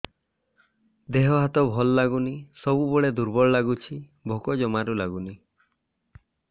ଦେହ ହାତ ଭଲ ଲାଗୁନି ସବୁବେଳେ ଦୁର୍ବଳ ଲାଗୁଛି ଭୋକ ଜମାରୁ ଲାଗୁନି